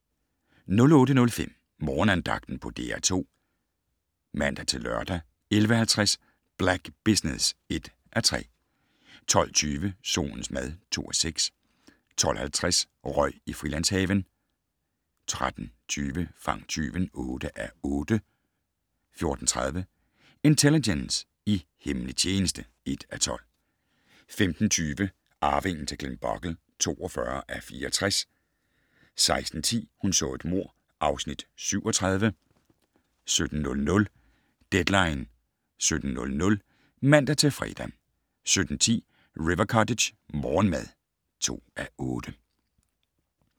08:05: Morgenandagten på DR2 (man-lør) 11:50: Black Business (1:3) 12:20: Solens mad (2:6) 12:50: Røg i Frilandshaven 13:20: Fang tyven (8:8) 14:30: Intelligence - i hemmelig tjeneste (1:12) 15:20: Arvingen til Glenbogle (42:64) 16:10: Hun så et mord (Afs. 37) 17:00: Deadline 17.00 (man-fre) 17:10: River Cottage - morgenmad (2:8)